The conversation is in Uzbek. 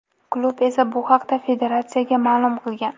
Klub esa bu haqda federatsiyaga ma’lum qilgan.